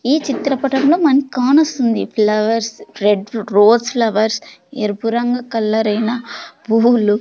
ఈ చిత్రపటం లో మన కానొస్తుంది ఫ్లవర్స్ రెడ్ రోజ్ ఫ్లవర్స్ ఎరుపు రంగు కలరైనా పువ్వులు--